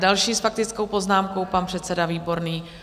Další s faktickou poznámkou pan předseda Výborný.